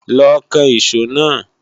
Lọ kan ìṣó náà!